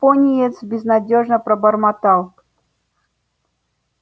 пониетс безнадёжно пробормотал